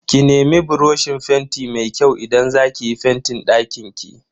Ki nemi buroshin fenti mai kyau idan za ki yi fentin dakinki.